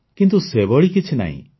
କିନ୍ତୁ ସେଭଳି କିଛି ନାହିଁ